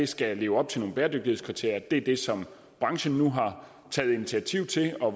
skal leve op til nogle bæredygtighedskriterier det er det som branchen nu har taget initiativ til og